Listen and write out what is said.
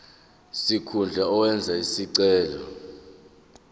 sikhundla owenze isicelo